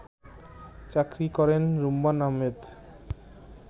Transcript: চাকুরী করেন রুম্মান আহমেদ